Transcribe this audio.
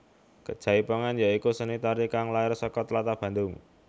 Jaipongan ya iku seni tari kang lair saka tlatah Bandung